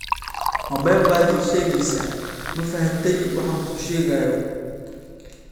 Ma been baad ii sheegaysaa, ma fahantay waxaan kuu sheegayo?